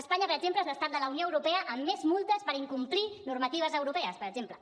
espanya per exemple és l’estat de la unió europea amb més multes per incomplir normatives europees per exemple